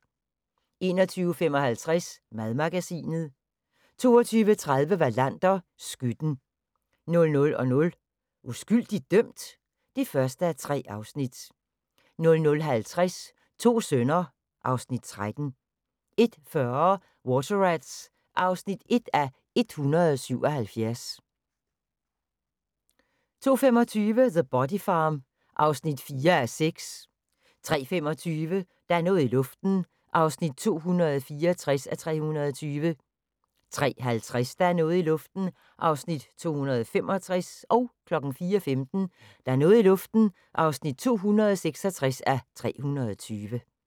21:55: Madmagasinet 22:30: Wallander: Skytten 00:00: Uskyldigt dømt? (1:3) 00:50: To sønner (Afs. 13) 01:40: Water Rats (1:177) 02:25: The Body Farm (4:6) 03:25: Der er noget i luften (264:320) 03:50: Der er noget i luften (265:320) 04:15: Der er noget i luften (266:320)